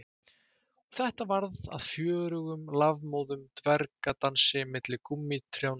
Og þetta varð að fjörugum lafmóðum dvergadansi milli gúmmítrjánna